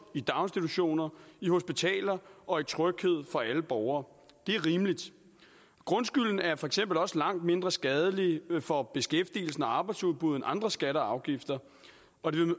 i daginstitutioner i hospitaler og i tryghed for alle borgere det er rimeligt grundskylden er for eksempel også langt mindre skadelig for beskæftigelsen og arbejdsudbuddet end andre skatter og afgifter